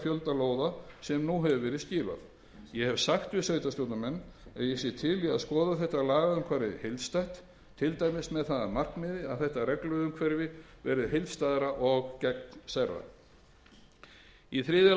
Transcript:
fjölda lóða sem nú hefur verið skilað ég hef sagt við sveitarstjórnarmenn að ég sé til í skoða þetta lagaumhverfi heildstætt til dæmis með það að markmiði að þetta regluumhverfi verði heildstæðara og gegnsærra í þriðja